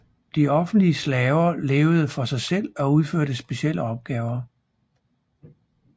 De offentlige slaver levede for sig selv og udførte specielle opgaver